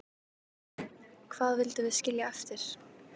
Hvað vildum við skilja eftir?